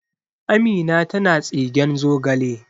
Amina tana tsigen zogale